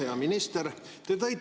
Hea minister!